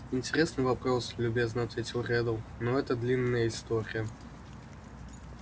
интересный вопрос любезно ответил реддл но это длинная история